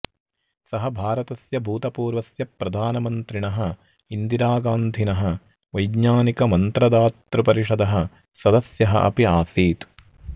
सः भारतस्य भूतपूर्वस्य प्रधानमन्त्रिणः इन्दिरागान्धिनः वैज्ञानिकमन्त्रदातृपरिषदः सदस्यः अपि आसीत्